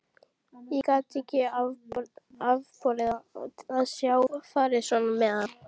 Ég gat ekki afborið að sjá farið svona með hann.